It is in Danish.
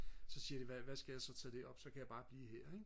så siger de hvad hvad skal jeg så tage derop så kan jeg bare blive her ikke